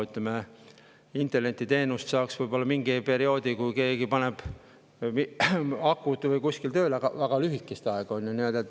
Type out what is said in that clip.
Ütleme, internetiteenust saaks võib-olla mingil perioodil, kui keegi paneks kuskil akud tööle, aga lühikest aega.